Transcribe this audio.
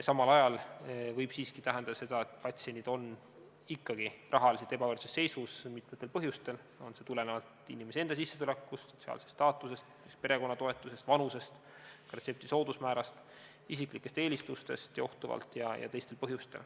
Samal ajal võib see siiski tähendada seda, et patsiendid on ikkagi rahaliselt ebavõrdses seisus, mitmetel põhjustel, kas tulenevalt inimese enda sissetulekust, sotsiaalsest staatusest, perekonna toetusest, vanusest või ka retsepti soodusmäärast, isiklikest eelistustest johtuvalt jne.